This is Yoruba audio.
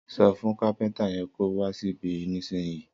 Sọ fún kàpẹńtà yen kò wà síbì nísìnyí.